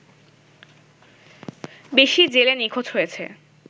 বেশি জেলে নিখোঁজ হয়েছে